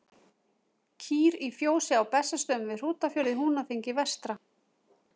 Kýr í fjósi á Bessastöðum við Hrútafjörð í Húnaþingi vestra.